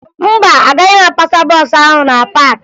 Mba, agaghị m apasa bọọsụ ahụ na paakị